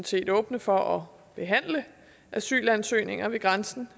set åbne for at behandle asylansøgninger ved grænsen